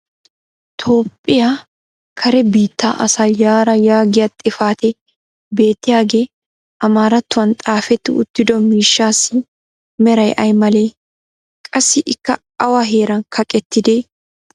toophphiyaa kare biittaa asaa yaraa yaagiya xifatee beettiyaagee amaaratuwan xaafetti uttido miishshaassi meray ay malee? qassi ikka awa heeran kaqettidee?